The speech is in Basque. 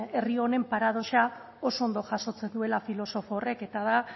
herri honen paradoxak oso ondo jasotzen duela filosofo horrek eta da